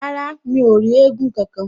Rárá, mi ò rí éégún kankan